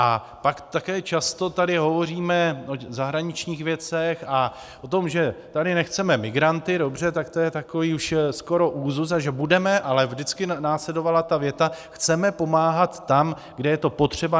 A pak také často tady hovoříme o zahraničních věcech a o tom, že tady nechceme migranty, dobře, tak to je takový už skoro úzus, a že budeme - ale vždycky následovala ta věta: Chceme pomáhat tam, kde je to potřeba.